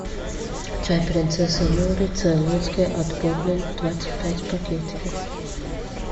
чай принцесса нури цейлонский отборный двадцать пять пакетиков